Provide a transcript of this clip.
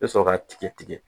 I bɛ sɔrɔ k'a tigi tigɛ